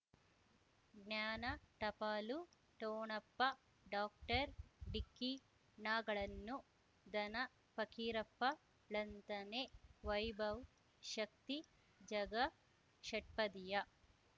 ಜ್ಞಾನ ಟಪಾಲು ಠೊಣಪ ಡಾಕ್ಟರ್ ಢಿಕ್ಕಿ ಣಗಳನು ಧನ ಫಕೀರಪ್ಪ ಳಂತಾನೆ ವೈಭವ್ ಶಕ್ತಿ ಝಗಾ ಷಟ್ಪದಿಯ